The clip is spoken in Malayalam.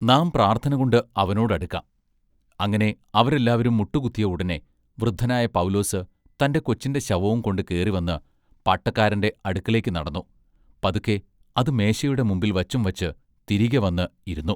നാം പ്രാർത്ഥനകൊണ്ട് അവനോട് അടുക്കാം. അങ്ങിനെ അവരെല്ലാവരും മുട്ടു കുത്തിയ ഉടനെ വൃദ്ധനായ പൗലോസ് തന്റെ കൊച്ചിന്റെ ശവവും കൊണ്ട് കേറി വന്ന് പാട്ടക്കാരന്റെ അടുക്കലേക്ക് നടന്നു പതുക്കേ അതു മേശയുടെ മുമ്പിൽ വച്ചുംവച്ചു തിരികെവന്ന് ഇരുന്നു.